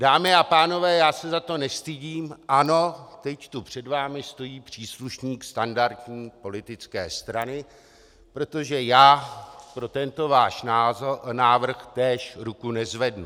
Dámy a pánové, já se za to nestydím, ano, teď tu před vámi stojí příslušník standardní politické strany, protože já pro tento váš návrh též ruku nezvednu.